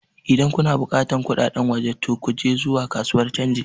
Idan kuna buƙatar kudaden waje to ku je zuwa kasuwar canji